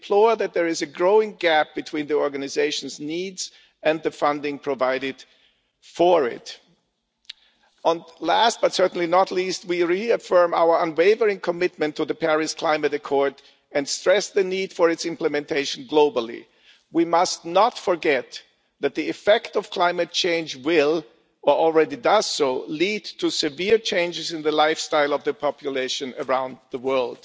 We deplore that there is a growing gap between the organisation's needs and the funding provided for it. Last, but certainly not least, we reaffirm our unwavering commitment to the Paris Climate Accord and stress the need for its implementation globally. We must not forget that the effect of climate change will or already does lead to severe changes in the lifestyle of the population around the world.